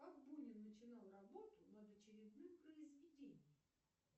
как бунин начинал работу над очередным произведением